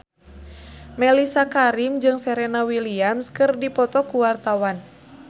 Mellisa Karim jeung Serena Williams keur dipoto ku wartawan